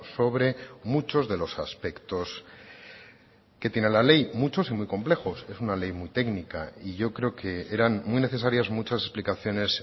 sobre muchos de los aspectos que tiene la ley muchos y muy complejos es una ley muy técnica y yo creo que eran muy necesarias muchas explicaciones